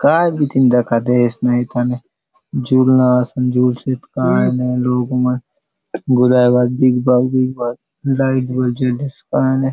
काय बीतीन दखा दयेसे न एथाने झुलना असन झुल सोत कायने लोक मन गुलाय बाटे बिग बाग बिग बाग लाइट बले जलेसे कायने।